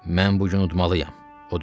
Mən bu gün udmalıyam, o düşündü.